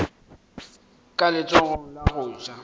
ka letsogong la go ja